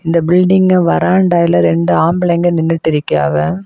இந்த பில்டிங் வரான் டயலாக் ரெண்டு ஆம்பளைங்க நின்னுட்டு இருக்காங்க.